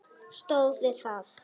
Stóð við það.